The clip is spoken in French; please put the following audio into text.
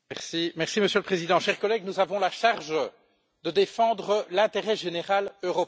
Monsieur le Président, chers collègues, nous avons la charge de défendre l'intérêt général européen.